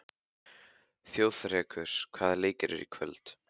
Þjóðrekur, hvaða leikir eru í kvöld?